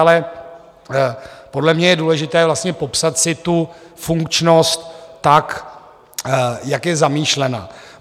Ale podle mě je důležité vlastně popsat si tu funkčnost tak, jak je zamýšlena.